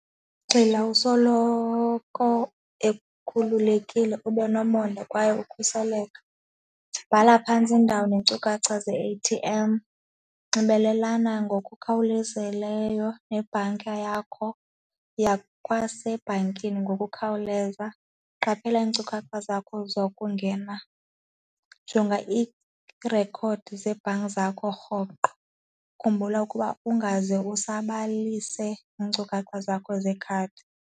Gxila usoloko ekhululekile, ube nomonde kwaye ukhuseleko, bhala phantsi iindawo neenkcukacha ze- A_T_M, nxibelelana ngokukhawulezileyo nebhanka yakho, yiya kwasebhankini ngokukhawuleza, qaphela iinkcukacha zakho zokungena, jonga iirekhodi zebhanki zakho rhoqo, khumbula ukuba ungaze usabalise iinkcukacha zakho zekhadi.